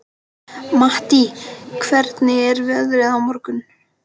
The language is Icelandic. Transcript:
Mattý, hvernig er veðrið á morgun?